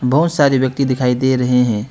बहुत सारे व्यक्ति दिखाई दे रहे हैं।